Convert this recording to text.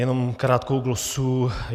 Jenom krátkou glosu.